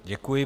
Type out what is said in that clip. Děkuji.